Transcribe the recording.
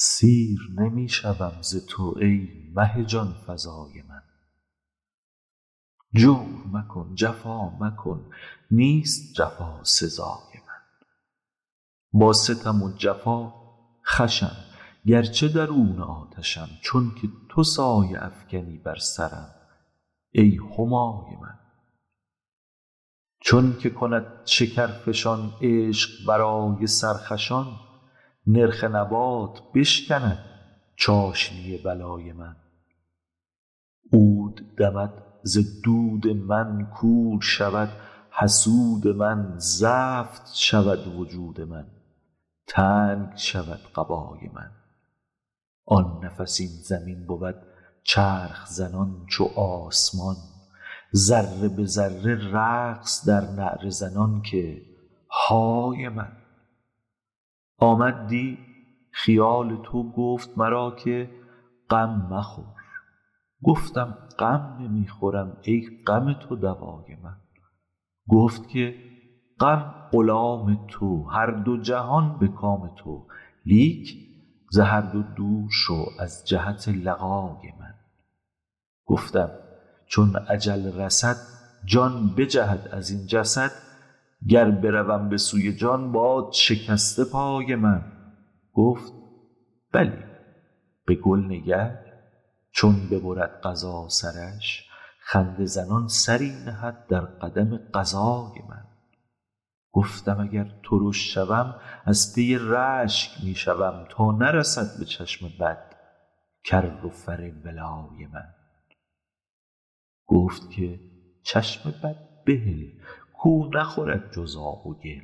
سیر نمی شوم ز تو ای مه جان فزای من جور مکن جفا مکن نیست جفا سزای من با ستم و جفا خوشم گرچه درون آتشم چونک تو سایه افکنی بر سرم ای همای من چونک کند شکرفشان عشق برای سرخوشان نرخ نبات بشکند چاشنی بلای من عود دمد ز دود من کور شود حسود من زفت شود وجود من تنگ شود قبای من آن نفس این زمین بود چرخ زنان چو آسمان ذره به ذره رقص در نعره زنان که های من آمد دی خیال تو گفت مرا که غم مخور گفتم غم نمی خورم ای غم تو دوای من گفت که غم غلام تو هر دو جهان به کام تو لیک ز هر دو دور شو از جهت لقای من گفتم چون اجل رسد جان بجهد از این جسد گر بروم به سوی جان باد شکسته پای من گفت بلی به گل نگر چون ببرد قضا سرش خنده زنان سری نهد در قدم قضای من گفتم اگر ترش شوم از پی رشک می شوم تا نرسد به چشم بد کر و فر ولای من گفت که چشم بد بهل کو نخورد جز آب و گل